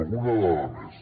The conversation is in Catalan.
alguna dada més